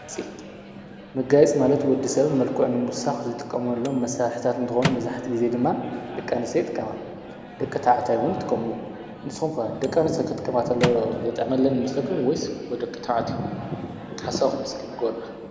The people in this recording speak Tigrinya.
መጋየፂ ማለት ወዲ ሰብ መልኩዑ ንምውሳኽ ዝጥቀምሎም መሳርሕታት እንተኾኑ መብዛሕቲኡ ጊዜ ድማ ድቂ ኣንሰትዮ ዝጥቀማ፣ ድቂ ተባዕታዮ ውን የጥቀሙ እዮም፡፡ ንስኹም ከ ድቀ ኣንስትዮ ኽጥቀማ ተለዋ ዘጥዕመለን ይመስለኩም ወይስ ደቂ ተባዕትዮ እዮም ሓሳብኩም እስኪ ንገሩና?